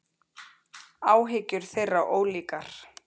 Áhyggjur þeirra ólíkar.